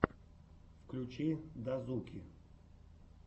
включи дазуки